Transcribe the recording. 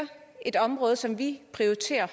et område som de prioriterer